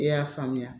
E y'a faamuya